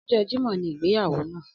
Ọjọ jẹmọ́ ni ìgbéyàwó náà